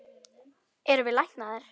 Erum við læknaðir?